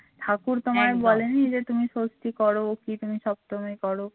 ঠাকুর তোমায় বলেনি যে তুমি ষষ্ঠী করো কি তুমি সপ্তমী করো এগুলো তো ঠাকুরে বলে দেয় না